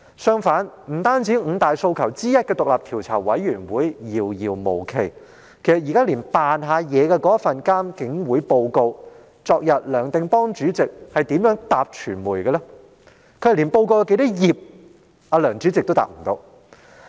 相反，不單五大訴求之一的成立獨立調查委員會遙遙無期，連那份虛與委蛇的獨立監察警方處理投訴委員會報告，其主席梁定邦昨天是如何回答傳媒的呢？